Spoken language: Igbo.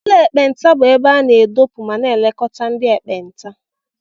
Ụlọ ndị ekpenta bụ ụlọ ebe a na-edopụ ma na-elekọta ndị ekpenta.